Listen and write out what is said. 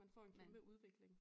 Man får en kæmpe udvikling